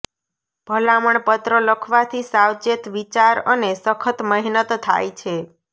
ભલામણ પત્ર લખવાથી સાવચેત વિચાર અને સખત મહેનત થાય છે